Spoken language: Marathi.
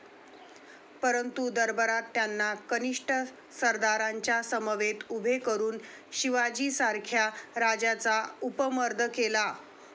परंतु दरबारात त्यांना कनिष्ठ सरदारांच्या समवेत उभे करून शिवाजीसारख्या राजांचा उपमर्द केला.